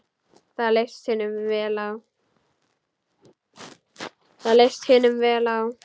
Það leist hinum vel á.